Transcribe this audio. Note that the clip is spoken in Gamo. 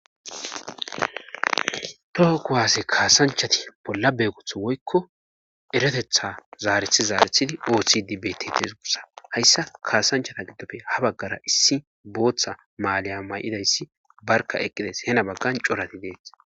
Toho kowaasse kaasanchati bolla beegutha woykko eretetha zaarethi zaarethidi oohidi bettes gussa hayssa kaasanchata giddofe ha baggara issi booththa maaliya may'idayssi barka eqqides hena baggan corati dees.